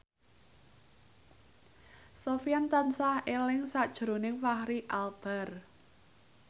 Sofyan tansah eling sakjroning Fachri Albar